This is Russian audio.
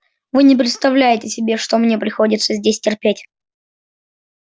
вы не представляете себе что мне приходится здесь терпеть